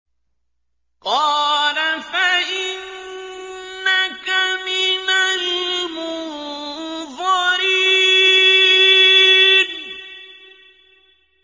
قَالَ فَإِنَّكَ مِنَ الْمُنظَرِينَ